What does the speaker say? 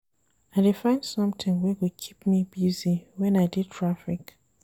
I dey find sometin wey go keep me busy wen I dey traffic.